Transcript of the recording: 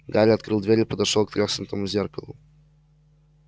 гарри открыл дверь и подошёл к треснутому зеркалу